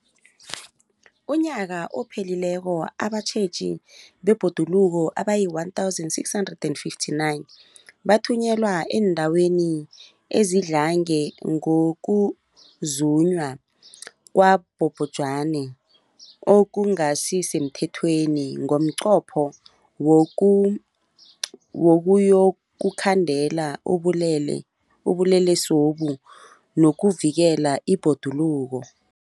UmNnyaka ophelileko abatjheji bebhoduluko abayi-1 659 bathunyelwa eendaweni ezidlange ngokuzunywa kwabobhejani okungasi semthethweni ngomnqopho wokuyokukhandela ubulelesobu nokuvikela ibhoduluko.